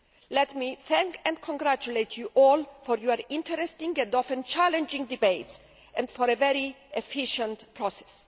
Let me thank and congratulate you all for your interesting and often challenging debates and for a very efficient process.